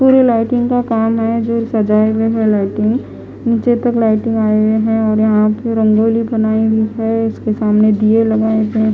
पूरे लाइटिंग का काम है जो सजाए हुए है लाइटिंग नीचे तक लाइटिंग आई हुई है और यहाँ पे रंगोली बनाई हुई है इसके सामने दिए लगाए गए है ।